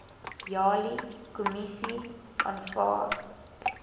jali kommissie aanvaar